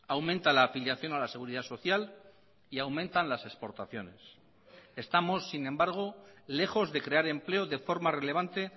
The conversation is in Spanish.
aumenta la afiliación a la seguridad social y aumentan las exportaciones estamos sin embargo lejos de crear empleo de forma relevante